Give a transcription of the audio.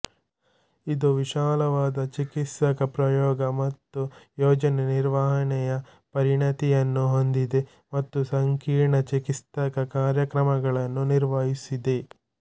ಇದು ವಿಶಾಲವಾದ ಚಿಕಿತ್ಸಕ ಪ್ರಯೋಗ ಮತ್ತು ಯೋಜನೆ ನಿರ್ವಹಣೆಯ ಪರಿಣತಿಯನ್ನು ಹೊಂದಿದೆ ಮತ್ತು ಸಂಕೀರ್ಣ ಚಿಕಿತ್ಸಕ ಕಾರ್ಯಕ್ರಮಗಳನ್ನು ನಿರ್ವಹಿಸಿದೆ